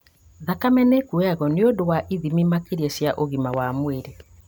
Thakame nĩĩkuoywo nĩũndũ wa ithimi makĩria cia ũgima wa mwĩrĩ